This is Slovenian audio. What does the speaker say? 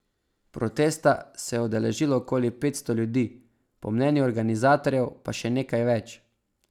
Protesta se je udeležilo okoli petsto ljudi, po mnenju organizatorjev pa še nekaj več.